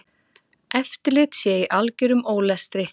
Eftirlit sé í algerum ólestri.